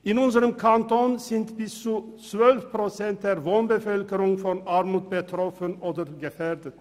In unserem Kanton sind bis zu 12 Prozent der Wohnbevölkerung von Armut betroffen oder gefährdet.